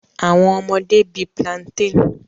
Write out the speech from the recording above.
Awọn ọmọde bi plantain